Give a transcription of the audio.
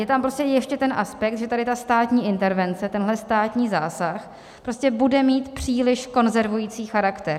Je tam prostě ještě ten aspekt, že tady ta státní intervence, tenhle státní zásah prostě bude mít příliš konzervující charakter.